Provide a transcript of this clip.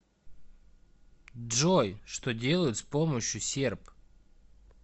джой что делают с помощью серп